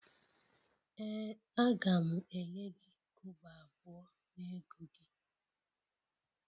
Ee a ga m enye gi kobo abuo n'ego gi